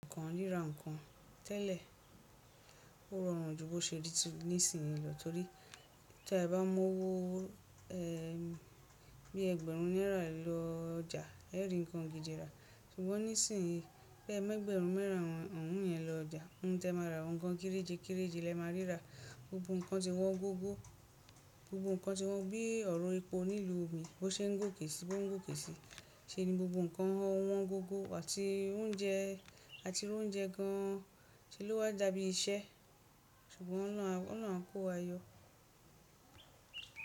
Nǹkan rírà nǹkan tẹ́lẹ̀. Ó rọrùn ju bó ṣe rí ti nísìyín lọ torí tí ẹ bá mówó ẹn. Bí ẹgbẹ̀rún náírà lọ ọjà ẹ ó rí nǹkan gidi rà, ṣùgbọ́n nísìnyíì bẹ́ẹ̀ mẹ́gbẹ̀rún mẹ́rìn ọrùn ọ̀ún yẹn lọ ọjà nǹ tẹ máa ra nǹkan kéréje kéréje lẹ máa rírà gbogbo nǹkan ti wọ́n gógó. Gbogbo nǹkan ti wọ́n bí ọ̀rọ̀ epo nílu omi bó ṣe ń gòkè si bó ń gòkè si ṣeni gbogbo nǹkan ọ̀ún wọ́n gógó àti oúnjẹ àti oúnjẹ gan tí ló wà jabi iṣẹ́ ṣùgbọ́n Ọlọ́hun á Ọlọ́huná kó wa yọ.